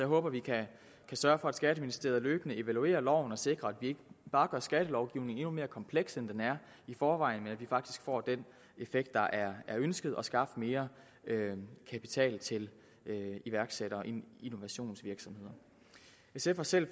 håber vi kan sørge for at skatteministeriet løbende evaluerer loven og sikrer at vi ikke bare gør skattelovgivningen endnu mere kompleks end den er i forvejen men faktisk får den effekt der er ønsket og skabt mere kapital til iværksættere i innovationsvirksomheder sf har selv